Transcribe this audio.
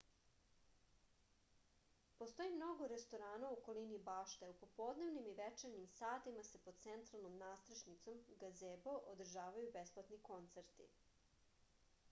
постоји много ресторана у околини баште а у поподневним и вечерњим сатима се под централном надстрешницом газебо одржавају бесплатни концерти